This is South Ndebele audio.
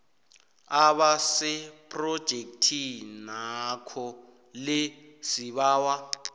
abasephrojekhthinakho le sibawa